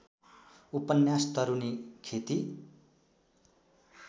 उपन्यास तरूनी खेती